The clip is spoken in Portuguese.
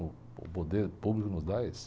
Uh, o poder público nos dá esse.